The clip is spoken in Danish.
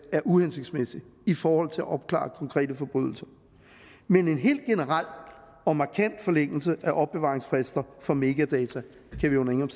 er uhensigtsmæssig i forhold til at opklare konkrete forbrydelser men en helt generel og markant forlængelse af opbevaringsfrister for metadata kan vi under ingen